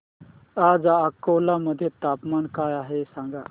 आज अकोला मध्ये तापमान काय आहे सांगा